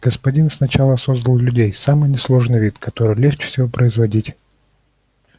господин сначала создал людей самый несложный вид который легче всего производить